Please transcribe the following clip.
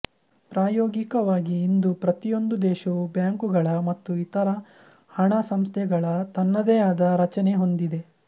ಪ್ರಾಯೋಗಿಕವಾಗಿ ಇಂದು ಪ್ರತಿಯೊಂದು ದೇಶವೂ ಬ್ಯಾಂಕುಗಳ ಮತ್ತು ಇತರ ಹಣ ಸಂಸ್ಥೆಗಳ ತನ್ನದೇ ಆದ ರಚನೆ ಹೊಂದಿದೆ